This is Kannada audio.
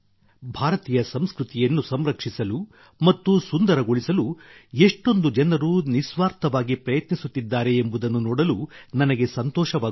ಭಾರತೀಯ ಸಂಸ್ಕೃತಿಯನ್ನು ಸಂರಕ್ಷಿಸಲು ಮತ್ತು ಸುಂದರಗೊಳಿಸಲು ಎಷ್ಟೊಂದು ಜನರು ನಿಸ್ವಾರ್ಥವಾಗಿ ಪ್ರಯತ್ನಿಸುತ್ತಿದ್ದಾರೆ ಎಂಬುದನ್ನು ನೋಡಲು ನನಗೆ ಸಂತೋಷವಾಗುತ್ತದೆ